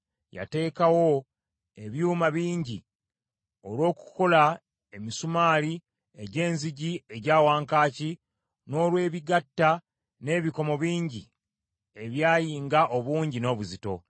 Yateekawo ebyuma bingi olw’okukola emisumaali egy’enzigi egya wankaaki, n’olwebigatta, n’ebikomo bingi ebyayinga obungi n’obuzito.